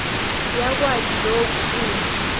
yakwati loku uma